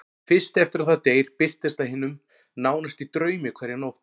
Fyrst eftir að það deyr birtist það hinum nánasta í draumi hverja nótt.